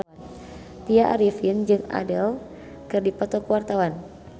Tya Arifin jeung Adele keur dipoto ku wartawan